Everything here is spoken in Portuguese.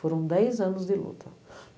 Foram dez anos de luta.